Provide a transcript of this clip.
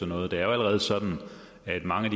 noget det er jo allerede sådan at mange af